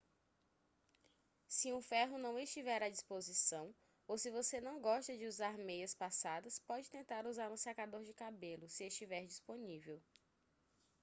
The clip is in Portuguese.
se um ferro não estiver à disposição ou se você não gosta de usar meias passadas pode tentar usar um secador de cabelo se estiver disponível